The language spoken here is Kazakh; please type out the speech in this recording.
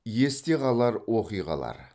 есте қалар оқиғалар